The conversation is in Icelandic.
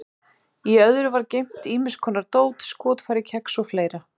Í öðru var geymt ýmis konar dót, skotfæri, kex og fleira.